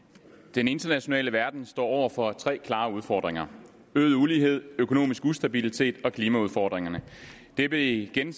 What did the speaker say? den internationale verden står over for tre klare udfordringer øget ulighed økonomisk ustabilitet og klimaudfordringerne det blev igen